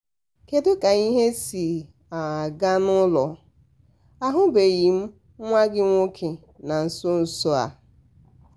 kedu ka ihe si um aga n'ụlọ? ahụbeghị m nwa gị nwoke na nso nso um a.